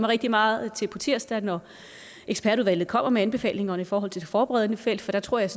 rigtig meget til på tirsdag når ekspertudvalget kommer med anbefalinger i forhold til det forberedende felt for der tror jeg